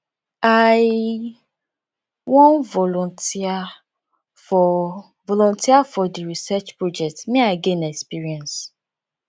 i wan volunteer for volunteer for di research project make i gain experience